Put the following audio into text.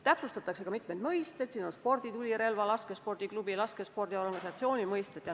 Täpsustatakse ka mitmeid mõisteid, näiteks sporditulirelva, laskespordiklubi ja laskespordiorganisatsiooni mõistet.